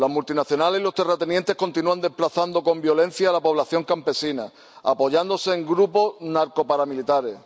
Las multinacionales y los terratenientes continúan desplazando con violencia a la población campesina, apoyándose en grupos narcoparamilitares.